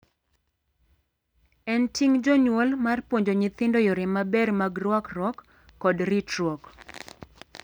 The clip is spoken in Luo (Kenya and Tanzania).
En ting' jonyuol mar puonjo nyithindo yore maber mag ruakruok kod ritruok.